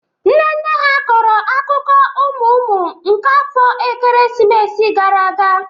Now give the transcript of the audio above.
Nne nne ha kọrọ akụkọ ụmụ ụmụ nke afọ ekeresimesi gara aga